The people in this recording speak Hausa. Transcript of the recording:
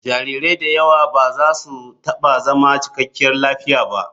Jarirai da yawa ba za su taɓa zama cikakkiyar lafiya ba.